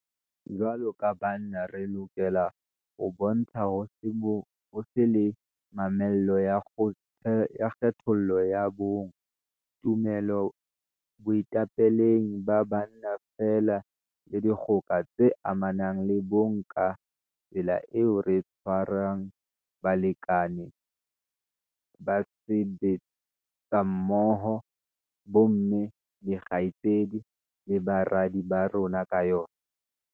Jwaloka banna re lokela ho bontsha ho se be le mamello ya kgethollo ya bong, tumelo boetapeleng ba banna feela le dikgoka tse amanang le bong ka tsela eo re tshwarang balekane, basebetsimmoho, bomme, dikgaitsedi le baradi ba rona ka yona.